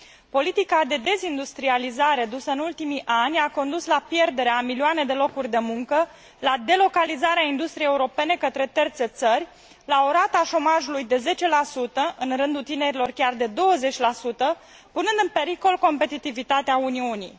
Politica de dezindustrializare dusă în ultimii ani a dus la pierderea a milioane de locuri de muncă, la delocalizarea industriei europene către terțe țări, la o rată a șomajului de 10 în rândul tinerilor chiar de 20 punând în pericol competitivitatea Uniunii.